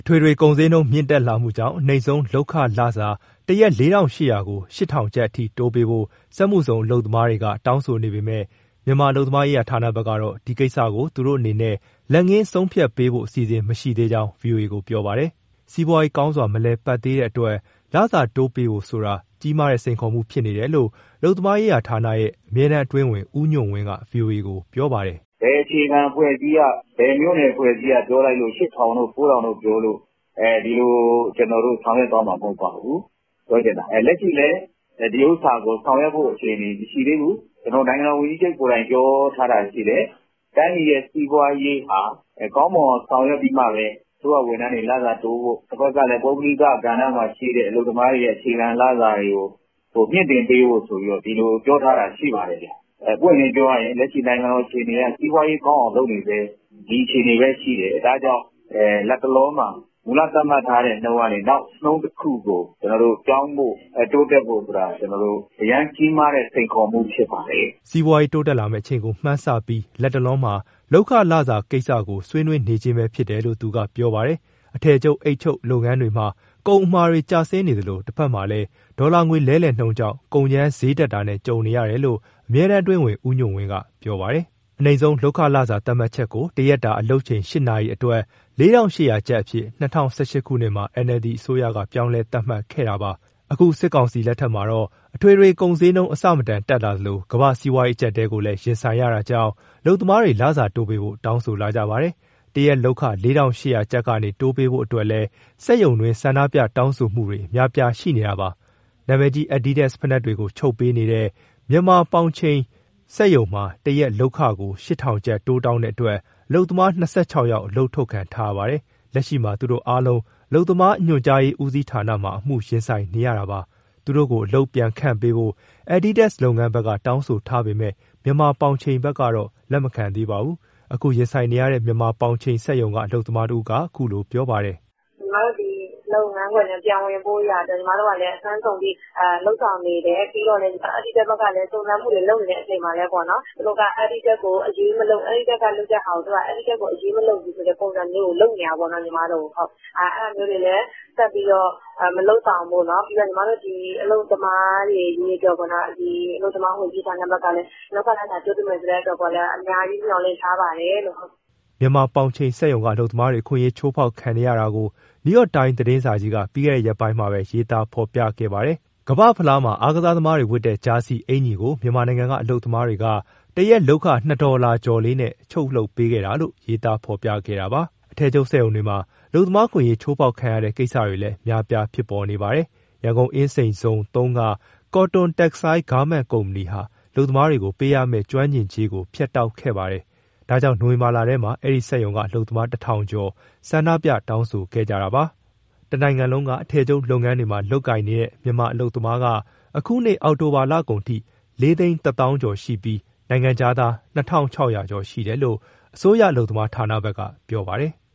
ထွေထွေကုန်ဈေးနှုန်းမြင့်တက်လာမှုကြောင့် အနိမ့်ဆုံးလုပ်ခလစာ တရက် ၄,၈၀၀ ကျပ်ကို ၈,၀၀၀ ကျပ်အထိတိုးပေးဖို့ စက်မှုဇုံအလုပ်သမားတွေက တောင်းဆိုနေပေမဲ့ မြန်မာ အလုပ်သမားရေး ဌာနဘက်ကတော့ ဒီကိစ္စကို သူတို့အနေနဲ့ လက်ငင်းဆုံးဖြတ်ပေးဖို့ အစီအစဉ်မရှိသေးကြောင်း ဗွီအိုအေကို ပြောပါတယ်။ စီးပွားရေး ကောင်းစွာ မလည်ပတ်သေးတဲ့အတွက် လစာတိုးပေးဖို့ဆိုတာ ကြီးမားတဲ့ စိန်ခေါ်မှုဖြစ်နေတယ်လို့ အလုပ်သမားရေးဌာနရဲ့ အမြဲတမ်းအတွင်းဝန် ဦးညွန့်ဝင်းက ဗွီအိုအေကို ပြောပါတယ်။ "ဘယ်အခြေခံအဖွဲ့အစည်းက ဘယ်မြို့နယ် အဖွဲ့အစည်းက ၈,၀၀၀ တို့ ၉,၀၀၀ တို့ပြောလို့ ဒီလို ကျနော်တို့ ဆောင်ရွက်သွားမှာမဟုတ်ပါဘူး။ လက်ရှိလည်း ဒီဟာကို ဆောင်ရွက် ဖို့ အခြေအနေ မရှိသေးဘူး။ နိုင်ငံတော်ဝန်ကြီးချုပ်ကိုယ်တိုင် ပြောထားတာရှိတယ်၊ တိုင်းပြည်ရဲ့စီးပွားရေး ကောင်းမွန်အောင်ဆောင်ရွက်ပြီးမှပဲ အစိုးရဝန်ထမ်းတွေ လစာတိုးဖို့၊ တဘက်ကလည်း ပုဂ္ဂလိကကဏ္ဍမှာရှိတဲ့ အလုပ်သမားတွေရဲ့ အခြေခံလစာတွေကို မြှင့် တင်ပေးဖို့ဆိုပြီး ဒီလိုပြောထားတာ ရှိပါတယ်။ ပွင့်ပွင့်လင်းလင်း ပြောရရင် လက်ရှိနိုင်ငံအခြေအနေအရ စီးပွားရေးကောင်းအောင် လုပ်နေဆဲ ဒီအခြေအနေပဲရှိတယ်။ ဒါကြောင့် လက်တလောမှာ မူလသတ်မှတ်ထားတဲ့ နှုန်းကနေ နောက်နှုန်းတခုကို ကျနော်တို့ပြောင်းဖို့၊ တိုးတက်ဖို့ဆိုတာ အရမ်းကြီးမားတဲ့ စိန်ခေါ်မှု ဖြစ်ပါတယ်။" စီးပွားရေး တိုးတက်လာမယ့်အချိန်ကို မှန်းဆပြီး လက်တလောမှာ လုပ်ခလစာကိစ္စကို ဆွေးနွေးနေခြင်းပဲဖြစ်တယ်လို့ သူကပြောပါတယ်။ အထည်ချုပ်၊ အိတ်ချုပ် ဒီလုပ်ငန်းတွေမှာ ကုန်အမှာတွေ ကျဆင်းနေသလို တက်မှာလည်း ဒေါ်လာငွေလဲလှယ်နှုန်းကြောင့် ကုန်ကြမ်းဈေးတက်တာနဲ့ ကြုံနေရတယ်လို့ အမြဲတမ်းအတွင်းဝန် ဦးညွန့်ဝင်းက ပြောပါတယ်။ အနိမ့်ဆုံးလုပ်ခလစာသတ်မှတ်ချက်ကို တရက်တာ အလုပ်ချိန် ၈ နာရီအတွက် ၄,၈၀၀ ကျပ်အဖြစ် ၂၀၁၈ ခုနှစ်မှာ NLD အစိုးရက ပြောင်းလဲသတ်မှတ်ခဲ့တာပါ။ အခု စစ်ကောင်စီ လက်ထက်မှာတော့ အထွေထွေကုန်ဈေးနှုန်းတွေ အဆမတန်တက်လာသလို ကမ္ဘာ့စီးပွား အကျပ်အတည်းကိုလည်း ရင်ဆိုင်ရတာကြောင့် အလုပ်သမားတွေက လစာတိုးပေးဖို့ တောင်းဆိုလာကြပါတယ်။ တရက်လုပ်ခ ၄,၈၀၀ ကျပ်ကနေ တိုးပေးဖို့အတွက်လည်း စက်ရုံတွင်း ဆန္ဒပြ တောင်းဆိုမှုတွေလည်း အများအပြား ရှိနေတာပါ။ နာမည်ကြီး Adidas ဖိနပ်တွေချုပ်ပေးနေတဲ့ Myanmar Pou Chen မှာ စက်ရုံမှာ တရက်လုပ်ခကို ၈,၀၀၀ ကျပ် တိုးတောင်းတဲ့အတွက် အလုပ်သမား ၂၆ ယောက် အလုပ်ထုတ်ခံထားရပါတယ်။ လက်ရှိမှာ သူ့တို့အားလုံးက အလုပ်သမား ညွှန်ကြားရေး ဦးစီးဌာနမှာ အမှုရင်ဆိုင်နေရတာပါ။ သူတို့ကို အလုပ်ပြန်ခန့်ပေးဖို့ Adidas လုပ်ငန်းဘက် က တောင်းဆိုထားပေမဲ့ မြန်မာပေါင်ချိန်ဘက်ကတော့ လက်မခံသေးပါဘူး။ အမှုရင်ဆိုင်နေတဲ့ မြန်မာပေါင်ချိန်စက်ရုံက အလုပ်သမားတဦးက အခုလိုပြောပါတယ်။ "ညီမတို့ ဒီလုပ်ငန်းခွင်ထဲ ပြန်ဝင်ဖို့အတွက် အစွမ်းကုန် လုပ်ဆောင်နေတယ်။ Adidas ဘက်ကလည်း စုံစမ်းနေတဲ့အချိန်မှာလည်း သူတို့က Adidas ကို အရေးမလုပ်ဘူးဆိုတဲ့ပုံစံမျိုးနဲ့ လုပ်နေတာပေါ့။ အဲဒါမျိုးတွေလည်း ဆက်ပြီးတော့ မလုပ်ဆောင်ဖို့၊ အလုပ်သမားတွေ အရေးအတွက် အလုပ်သမားဝန်ကြီးဌာနဘက်ကလည်း လုပ်ခလစာတိုးပေးမယ် ဆိုတဲ့အတွက်လည်း အများကြီး မျှော်လင့်ထားပါတယ်။" မြန်မာပေါင်ချိန်စက်ရုံက အလုပ်သမားတွေ အခွင့်အရေး ချိုးဖောက်ခံနေရတာကို New York Times သတင်းစာကြီးက ပြီးခဲ့တဲ့ ရက်ပိုင်းထဲမှာ ရေးသားဖော်ပြခဲ့ပါတယ်။ ကမ္ဘာ့ ဖလားမှာ အားကစားသမားတွေဝတ်တဲ့ ဂျာစီအင်္ကျီကို မြန်မာနိုင်ငံက အလုပ်သမားတွေက တရက်လုပ်ခ ၂ ဒေါ်လာကျော်လေးနဲ့ ချုပ်လုပ်ပေးခဲ့တာလို့ ရေးသားဖော်ပြခဲ့တာပါ။ အထည်ချုပ်စက်ရုံတွေမှာ အလုပ်သမား အခွင့်အရေး ချိုးဖောက်ခံရတဲ့ကိစ္စတွေလည်း အများအပြား ဖြစ်ပေါ်နေပါတယ်။ ရန်ကုန် အင်းစိန်ဇုံ က Cotton Textile Garment စက်ရုံဟာ အလုပ်သမားတွေကို ပေးရမဲ့ ကျွမ်းကျင်ကြေးကို ဖြတ်တောက်ခဲ့ပါတယ်။ ဒါကြောင့် နိုဝင်ဘာလထဲမှာ အဲဒီစက်ရုံက အလုပ်သမား ၁,၀၀၀ ကျော်က ဆန္ဒပြ တောင်းဆိုခဲ့ကြတာပါ။ တနိုင်ငံလုံးက အထည်ချုပ်လုပ်ငန်းတွေမှာ လုပ်ကိုင်နေတဲ့ မြန်မာအလုပ်သမားက အခုနှစ် အောက်တိုဘာလကုန်အထိ ၄၁၀,၀၀၀ ကျော်ရှိပြီး နိုင်ငံခြားသားက ၂,၆၀၀ ကျော်ရှိတယ်လို့ အစိုးရအလုပ်သမား ဌာနဘက်က ပြောပါတယ်။